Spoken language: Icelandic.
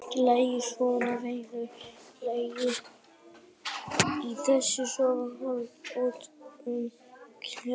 Ég ligg í sófanum að venju, ligg eilíflega í þessum sófa, horfi út um kjallaragluggann.